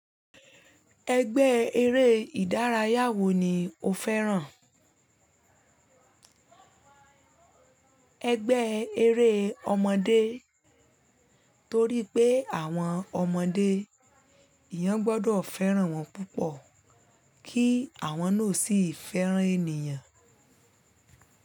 Ẹgbẹ́ eré ìdárayá wo ni o fẹ́ràn? Ẹgbẹ́ eré ọmọdé torí pé àwọn ọmọdé, èèyàn gbọdọ̀ fẹ́ràn wọn púpọ̀ kí àwọn náà sì fẹ́ràn ènìyàn.